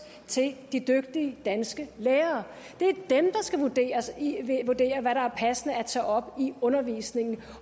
til de dygtige danske lærere det er dem der skal vurdere hvad der er passende at tage op i undervisningen